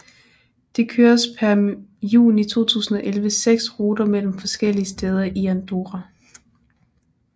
Det køres per juni 2011 seks ruter mellem forskellige steder i Andorra